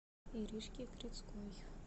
иришке крицкой